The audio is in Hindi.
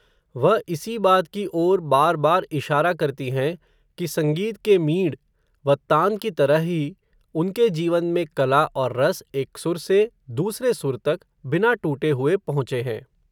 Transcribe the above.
वह इसी बात की ओर बार बार इशारा करती हैं, कि संगीत के मींड़, व तान की तरह ही, उनके जीवन में कला और रस, एक सुर से दूसरे सुर तक, बिना टूटे हुए पहुँचे हैं